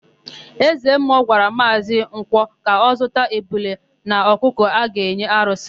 Ezemmụọ gwara Maazị Nkwọ ka ọ zụta ebule na ọkụkọ a ga-enye arụsị.